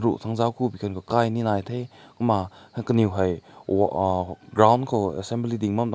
ru tang zao ku kai ne nai te kumna kanew hae uh ground ko assembly ding bam